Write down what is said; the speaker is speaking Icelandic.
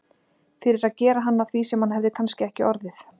Fyrir að gera hann að því sem hann hefði kannski ekki orðið.